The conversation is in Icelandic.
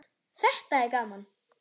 Þetta er gaman.